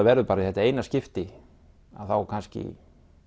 verður bara í þetta eina skipti að þá kannski